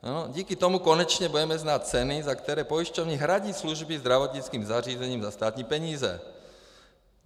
Díky tomu konečně budeme znát ceny, za které pojišťovny hradí služby zdravotnickým zařízením za státní peníze.